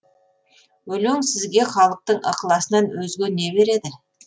өлең сізге халықтың ықыласынан өзге не береді